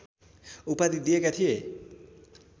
उपाधि दिएका थिए